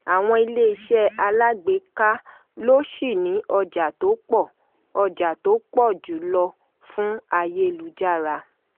àwọn iléeṣẹ́ alágbèéká ló ṣì ni ọjà tó pọ̀ ọjà tó pọ̀ jù lọ fún ayélujára.